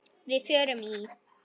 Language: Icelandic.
Við fórum í